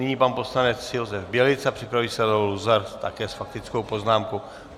Nyní pan poslanec Josef Bělica, připraví se Leo Luzar také s faktickou poznámkou.